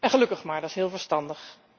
Gelukkig maar, dat is heel verstandig.